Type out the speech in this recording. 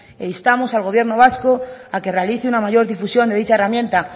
e instamos al gobierno vasco a que realice una mayor difusión de dicha herramienta